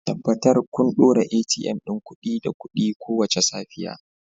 Tabbatar kun ɗora ATM ɗin kuɗi da kuɗi kowace safiya